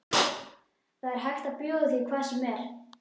Það er hægt að bjóða því hvað sem er.